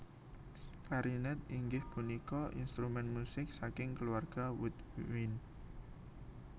Klarinet inggih punika instrumen musik saking keluarga woodwind